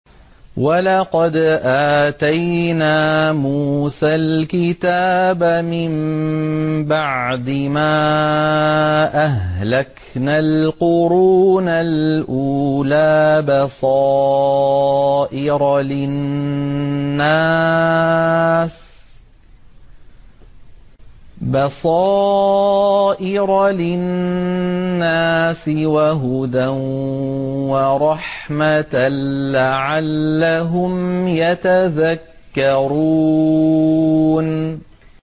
وَلَقَدْ آتَيْنَا مُوسَى الْكِتَابَ مِن بَعْدِ مَا أَهْلَكْنَا الْقُرُونَ الْأُولَىٰ بَصَائِرَ لِلنَّاسِ وَهُدًى وَرَحْمَةً لَّعَلَّهُمْ يَتَذَكَّرُونَ